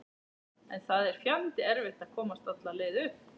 En það er fjandi erfitt að komast alla leið upp.